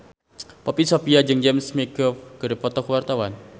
Poppy Sovia jeung James McAvoy keur dipoto ku wartawan